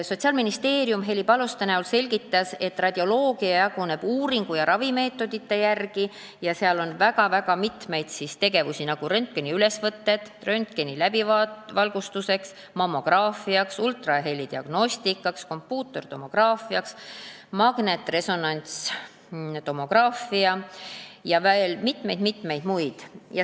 Sotsiaalministeeriumi esindaja Heli Paluste selgitas, et radioloogia jaguneb uuringu- ja ravimeetodite järgi ning seal on väga mitmeid tegevusi, nagu röntgeniülesvõtted, röntgenläbivalgustus, mammograafia, ultrahelidiagnostika, kompuutertomograafia, magnetresonantstomograafia ja veel mitmed-mitmed muud tegevused.